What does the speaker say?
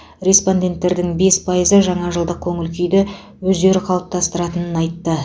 респонденттердің бес пайызы жаңа жылдық көңіл күйді өздері қалаптастыратынын айтты